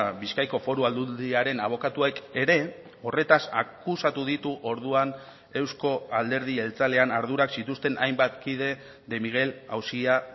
bizkaiko foru aldundiaren abokatuek ere horretaz akusatu ditu orduan euzko alderdi jeltzalean ardurak zituzten hainbat kide de miguel auzia